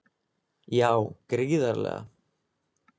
Já gríðarlega.